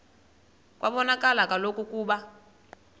kwabonakala kaloku ukuba